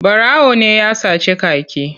Ɓarawo ne ya sace kaki.